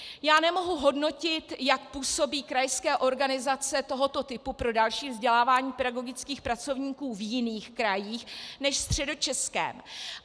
Já nemohu hodnotit, jak působí krajská organizace tohoto typu pro další vzdělávání pedagogických pracovníků v jiných krajích než ve Středočeském.